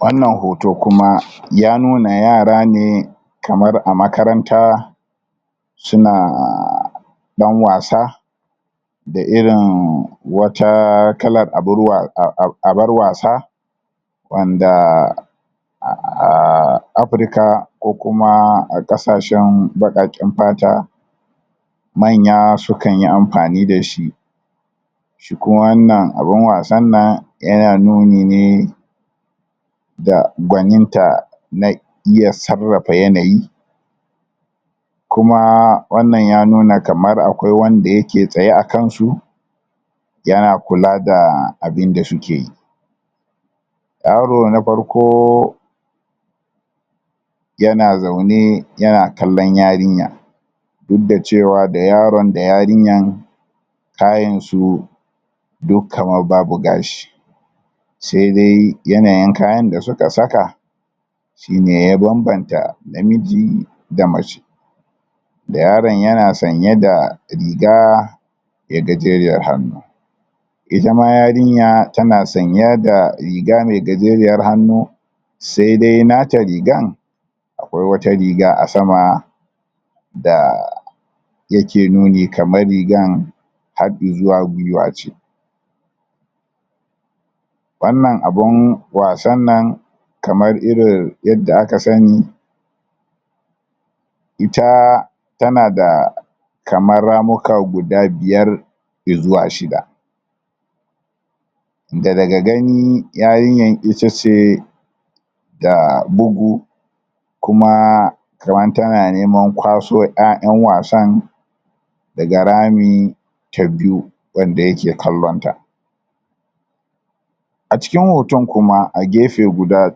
wannan hoto kuma ya nuna yara ne kamar a makaranta sunaaa dan wasa da irin wata kalar abarwa abar wasa wanda aaaaa afrika ko kuma kasashen baqaqen fata manya su kan yi amfani dashi shi kuma wannan abun wasan nan yana nuni ne da gwanin ta na na iya sarrafa yanayi kumaaa wannan ya nuna kamar akwai wanda yake tsaye a kansu yana kula da abinda sukeyi yaro na farko yana zaune yana kallon yarinya duk da cewa da yaron da yarinyan kayin su duk kamar babu gashi sai dai yanayin kayan da suka saka shine ya banbanta namiji da mace da yaron yana sanye da rigaa me gajeriyar hannu itama yarinya tana sanye da riga me gajeriyar hannu sai dai nata rigar akwai wata riga a sama daa da yake nuni kamar rigar har izuwa gwuiwa ce wannan abun wasan nan kamar irin yadda aka sani itaaaa tana da kamar ramuka guda biyar izuwa shida daga ga gani yarinyan itace ta bugu kumaaa kamar tana neman kwaso 'ya'yan wasan daga rami ta biyu wanda yake kallon ta a cikin hoton kuma a gefe guda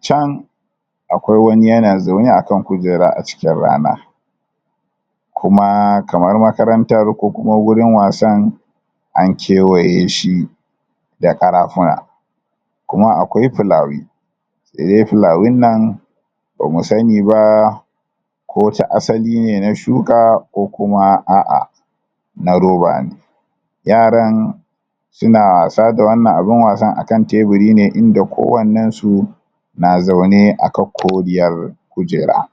chan akwai wani yana zaune akan kujera a cikin rana kuma kamar makarantan ko kuma gurin wasan an kiwayeshi da karafuna kuma akwai fulawi se dai fulawin nan bamu sani ba ko ta asili ne na shuka ko kuma a'ah na roba ne yaran suna wasa da wannan abun wasan akan tebiri ne inda kowannen su na zaune akan koriyar kujera?